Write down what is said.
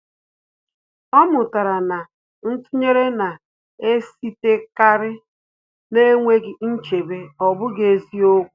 Ọ́ mụ́tàrà na ntụnyere nà-èsítékárí n’énwéghị́ nchebe, ọ́ bụ́ghị́ eziokwu.